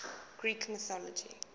greek mythology